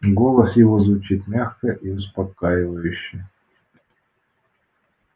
голос его звучит мягко и успокаивающе